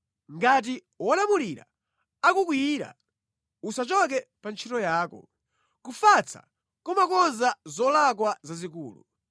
Ngati wolamulira akukwiyira, usachoke pa ntchito yako; kufatsa kumakonza zolakwa zazikulu.